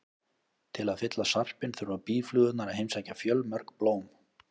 Til að fylla sarpinn þurfa býflugurnar að heimsækja fjölmörg blóm.